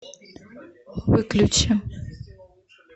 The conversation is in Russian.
выключи